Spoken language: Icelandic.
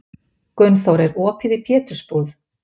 Gunnþór, er opið í Pétursbúð?